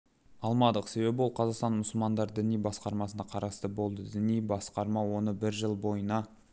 алмадық себебі ол қазақстан мұсылмандары діни басқармасына қарасты болды діни басқарма оны бір жыл бойына